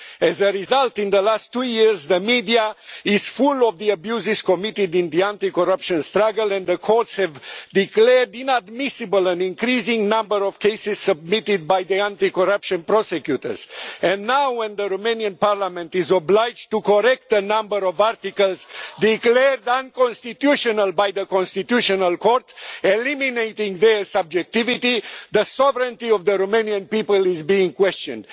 As a result, in the last two years the media is full of the abuses committed in the anti-corruption struggle and the courts have declared inadmissible an increasing number of cases submitted by anti-corruption prosecutors. And now, when the Romanian parliament is obliged to correct a number of articles declared unconstitutional by the Constitutional Court eliminating their subjectivity the sovereignty of the Romanian people is being questioned.